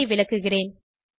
கோடு ஐ விளக்குகிறேன்